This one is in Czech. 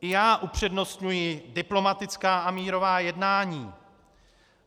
I já upřednostňuji diplomatická a mírová jednání.